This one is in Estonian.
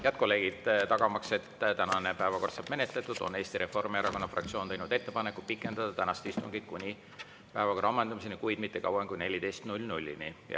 Head kolleegid, tagamaks, et tänane päevakord saab menetletud, on Eesti Reformierakonna fraktsioon teinud ettepaneku pikendada tänast istungit kuni päevakorra ammendumiseni, kuid mitte kauem kui kella 14‑ni.